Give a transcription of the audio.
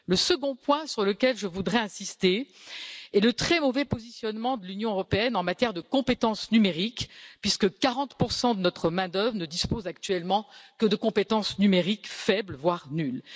Le second point sur lequel je voudrais insister est le très mauvais positionnement de l'Union européenne en matière de compétences numériques, puisque 40 de notre main d'œuvre ne dispose actuellement que de compétences numériques faibles, voire nulles.